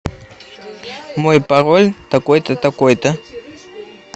мой пароль такой то такой то